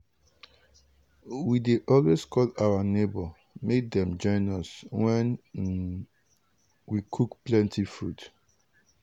we dey always call our neighbour make dem join us when um we cook plenty food